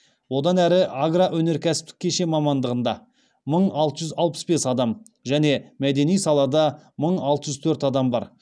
одан әрі агроөнеркәсіптік кешен мамандығында мың алты жүз алпыс бес адам және мәдени салада мың алты жүз төрт адам бар